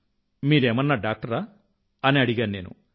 మీరేమన్నా డాక్టరా అని అడిగాను నేను